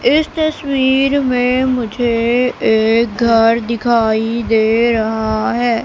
इस तस्वीर में मुझे एक घर दिखाई दे रहा है।